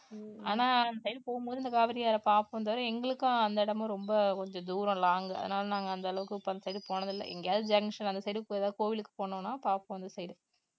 ஆனா அந்த side போகும் போது இந்த காவிரி ஆற பாப்போம் தவிர எங்களுக்கும் அந்த இடமும் ரொம்ப கொஞ்சம் தூரம் long அதனால நாங்க அந்த அளவுக்கு அந்த side போனது இல்ல எங்கயாவது junction அந்த side ஏதாவது கோவிலுக்கு போனோம்னா பாப்போம் அந்த side